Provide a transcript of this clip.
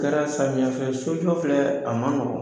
Kɛra samiyɛfɛ sojɔ filɛ a man nɔgɔn.